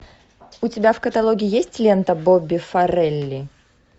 у тебя в каталоге есть лента бобби фаррелли